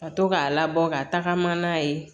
Ka to k'a labɔ ka tagama n'a ye